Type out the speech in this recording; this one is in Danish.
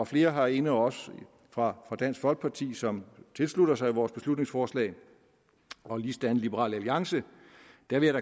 flere herinde også fra dansk folkeparti som tilslutter sig vores beslutningsforslag og ligesådan fra liberal alliance